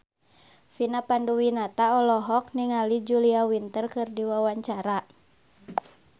Vina Panduwinata olohok ningali Julia Winter keur diwawancara